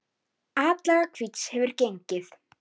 Síðustu sóknir liðanna nýttust illa.